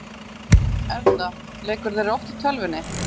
Erla: Leikurðu þér oft í tölvunni?